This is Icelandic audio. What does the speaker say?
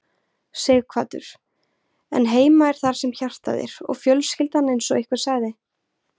Sighvatur: En heima er þar sem hjartað er og fjölskyldan eins og einhver sagði?